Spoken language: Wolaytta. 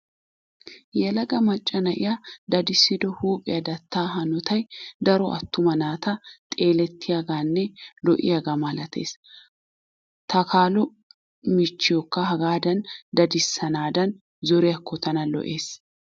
Yelaga macca na'iyaa dadissido huuphiya dattaa hanotayii daro attuma naata xeelettiyaagaanne lo'iyaagaa malatees. Takaalo michchiyooka hagaadan dadissanaadan zoriyaakko tana lo'ees.